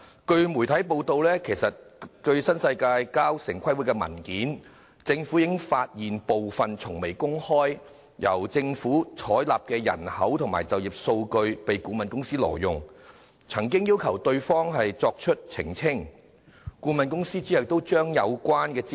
據媒體報道，政府從新世界提交城市規劃委員會的文件中，已發現部分從未公開、獲政府採納的人口和就業數據被顧問公司挪用，因而要求對方澄清，該顧問公司亦隨之抽起相關資料。